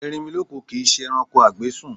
Erinmilọ́kun kìí ṣe ẹranko a gbé sùn.